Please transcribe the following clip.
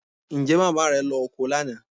Ǹjẹ́ màmá rẹ lọ oko lánàá?